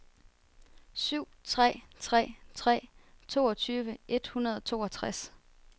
syv tre tre tre toogtyve et hundrede og toogtres